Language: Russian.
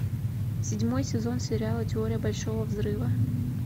седьмой сезон сериала теория большого взрыва